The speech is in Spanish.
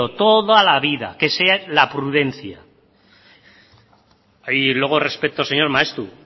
toda la vida que sea la prudencia y luego señor maeztu